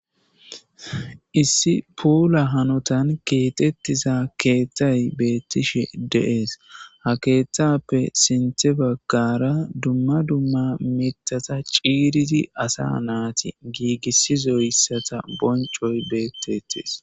Issi puula hanotan keetettiza keethtay beettishe dees. Ha keetthappe sinthe baggara dumma dumma mitata ciiridi asa naati giigisizo issata boncoy beettetes.